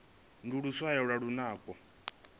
ndi luswayo lwa lunako